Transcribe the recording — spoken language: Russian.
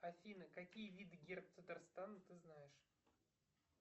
афина какие виды герб татарстана ты знаешь